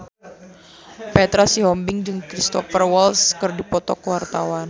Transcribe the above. Petra Sihombing jeung Cristhoper Waltz keur dipoto ku wartawan